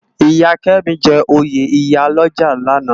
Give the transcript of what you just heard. Iya Kemi jè óyé iyá lòjá làná